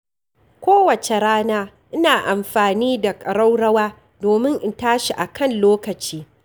Kowace rana ina amfani da ƙaraurawa domin in tashi a kan lokaci.